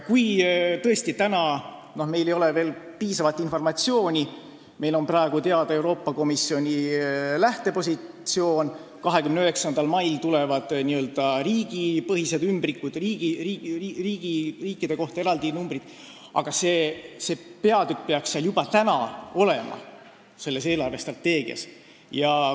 Kui meil tõesti ei ole veel piisavalt informatsiooni, sest meil on praegu teada vaid Euroopa Komisjoni lähtepositsioon, 29. mail tulevad n-ö riigipõhised ümbrikud, numbrid riikide kohta, peaks see peatükk juba täna selles eelarvestrateegias olema.